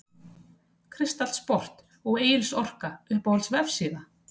Kristall Sport og Egils Orka Uppáhalds vefsíða?